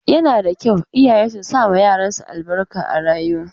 Yana da kyau iyaye su sama yaran su albarka a rayuwa.